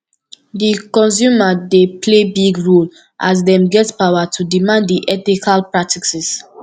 di consumer dey play big role as dem get power to demand di ethical practices